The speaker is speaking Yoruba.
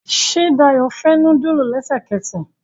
Ṣe Dayo fè nudulu lẹsẹkẹsẹ